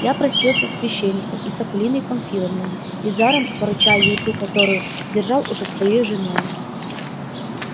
я простился с священником и с акулиной памфиловной и с жаром поручая ей ту которую почитал уже своею женою